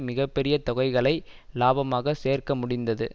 மிக பெரிய தொகைகளை இலாபமாகச் சேர்க்க முடிந்தது